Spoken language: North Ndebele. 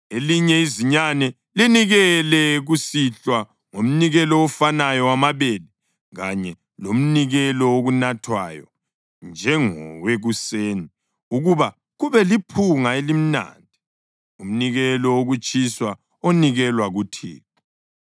Elinye izinyane linikele kusihlwa ngomnikelo ofanayo wamabele kanye lomnikelo wokunathwayo njengowekuseni ukuba kube liphunga elimnandi, umnikelo wokutshiswa onikelwa kuThixo.